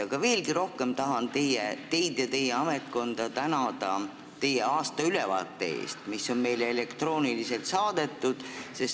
Aga veelgi rohkem tahan teid ja teie ametkonda tänada teie aastaülevaate eest, mis on meile elektrooniliselt saadetud.